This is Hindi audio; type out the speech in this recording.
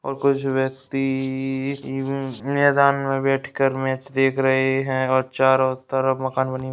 और कुछ व्यक्ति या मैदान में बैठकर मैच देख रहे हैं और चारों तरफ मकान बनी --